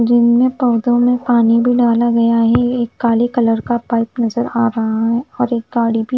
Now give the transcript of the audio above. gym में पोधो में पानी भी डाला गया है एक काले कलर का पाइप नज़र आरहा है और एक गाड़ी भी--